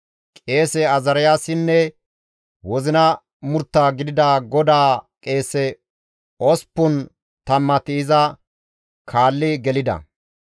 Qeese Azaariyaasinne wozina murtta gidida GODAA qeese osppun tammati iza kaalli gelida.